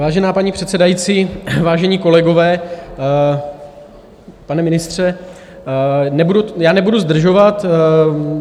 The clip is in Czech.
Vážená paní předsedající, vážení kolegové, pane ministře, já nebudu zdržovat.